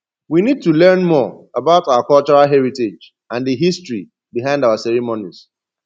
we need to learn more about our cultural heritage and di history behind our ceremonies